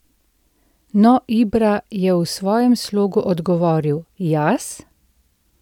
No, Ibra je v svojem slogu odgovoril: "Jaz?